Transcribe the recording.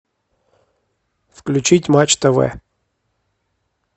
включить матч тв